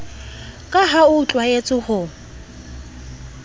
ka ha o tlwaetse ho